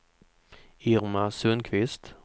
Irma Sundqvist